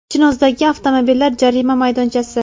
Chinozdagi avtomobillar jarima maydonchasi.